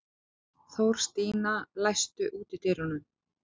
Þórstína, læstu útidyrunum.